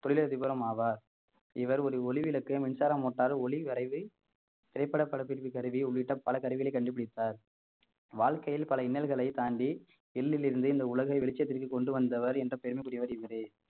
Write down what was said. தொழிலதிபரும் ஆவார் இவர் ஒரு ஒளிவிளக்கு மின்சார motor ஒளி வரைவு திரைப்பட படப்பிடிப்பு கருவி உள்ளிட்ட பல கருவிகளை கண்டுபிடித்தார் வாழ்க்கையில் பல இன்னல்களைத் தாண்டி எள்ளிலிருந்து இந்த உலகை வெளிச்சத்திற்கு கொண்டு வந்தவர் என்ற பெருமைக்குரியவர் இவரே